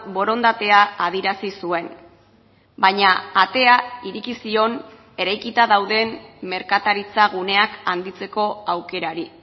borondatea adierazi zuen baina atea ireki zion eraikita dauden merkataritza guneak handitzeko aukerari